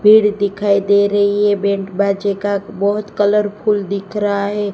पेड़ दिखाई दे रही है बैंड बाजे का बहुत कलरफुल दिख रहा है।